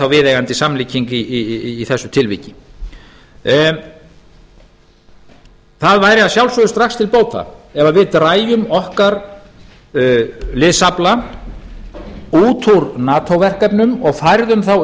viðeigandi samlíking í þessu tilviki það væri að sjálfsögðu strax til bóta ef við drægjum okkar liðsafla út úr nato verkefnum og færðum þá